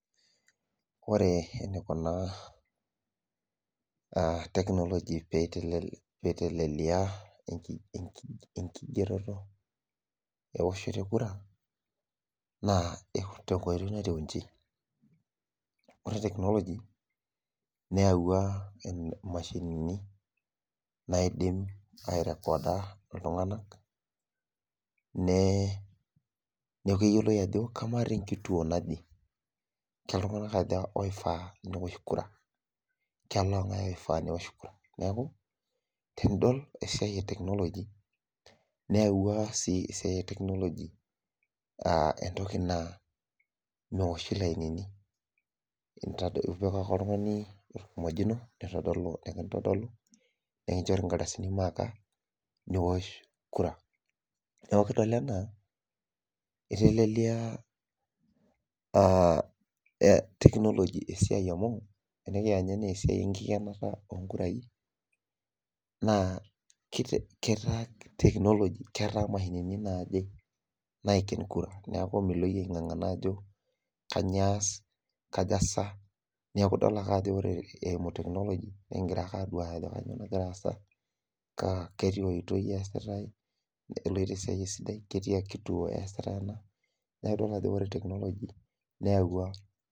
Ore enikuna technology peiteleia enkigeroto ewoshoto ekura na tenkoitoi natiu inji ore technology neyawua mashinini naidim airecorder ltunganak neaku keyioloi ajo ama tenkituo naje kaltunganak aja oifai peosh kura kelongae oifaa peosh kura, neaku tenidol esiai e technology neyawua si esiai e technology entoki na oshi lainini ipik ake oltungani orkimojino nikimtadolu nikichori nkardasini maaka niwosh kura neaku kidol ana itelelia technology esiai amu enikiya Nye ana esiai enkikenata onkurai na ketaa technology mashinini naaje naiken kura neaku milo iyie aingangana ajo kanyio ias kaja neaku idol ake ajo ore eimu technology nikidol ajo kanyio nagira aasa katiaoitoi easitae keloito ,neakubkitadolu ajo ore technology neyawua.